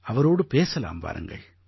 அவரோடு பேசலாம் வாருங்கள்